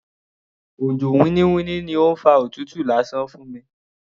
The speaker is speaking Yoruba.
Òjò winniwinni ni ó fa òtútù lásán fún mi.